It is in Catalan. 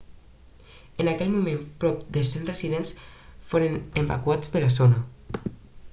en aquell moment prop de 100 residents foren evacuats de la zona